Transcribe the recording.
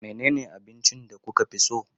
Menene abincin da kuka fi so?